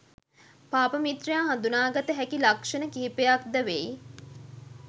පාප මිත්‍රයා හඳුනාගත හැකි ලක්ෂණ කිහිපයක්ද වෙයි.